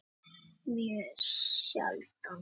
En ég fer mjög sjaldan á pöbb